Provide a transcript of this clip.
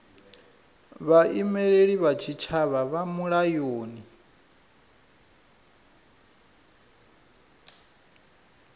vhaimeleli vha tshitshavha vha mulayoni